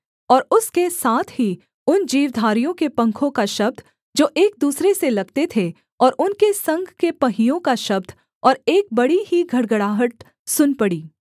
और उसके साथ ही उन जीवधारियों के पंखों का शब्द जो एक दूसरे से लगते थे और उनके संग के पहियों का शब्द और एक बड़ी ही घड़घड़ाहट सुन पड़ी